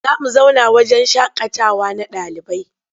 Za mu zauna wahjen shaƙatawa na ɗalibai.